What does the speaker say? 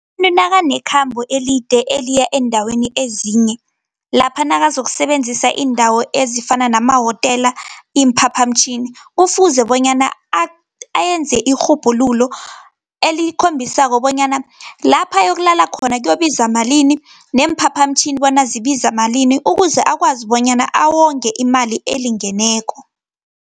Umuntu nakanekhambo elide eliya eendaweni ezinye, lapha nakazokusebenzisa iindawo ezifana namahotela, iimphaphamtjhini, kufuze bonyana ayenze irhubhululo elikhombisako bonyana, lapha ayokulala khona kubiza malini, neemphaphamtjhini bona zibiza malini, ukuze akwazi bonyana awonge imali elingeneko.